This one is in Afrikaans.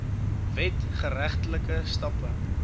wet geregtelike stappe